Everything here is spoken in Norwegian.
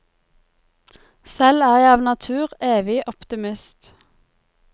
Selv er jeg av natur evig optimist.